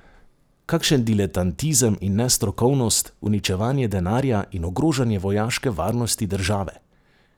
Kakšen diletantizem in nestrokovnost, uničevanje denarja in ogrožanje vojaške varnosti države!